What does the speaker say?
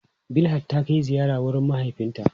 Bilhat ta kai ziyara wurin mahaifinta.